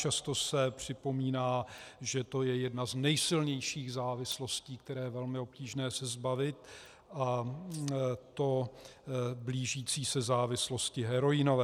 Často se připomíná, že to je jedna z nejsilnějších závislostí, které je velmi obtížné se zbavit, a to blížící se závislosti heroinové.